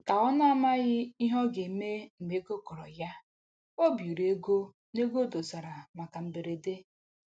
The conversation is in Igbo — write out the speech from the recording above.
Ka ọ na-amaghị ihe ọ ga-eme mgbe ego kọrọ ya, o biiri ego n'ego o dosara maka mberede